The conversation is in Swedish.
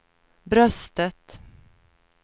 bröstet